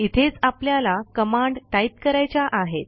इथेच आपल्याला command type करायच्या आहेत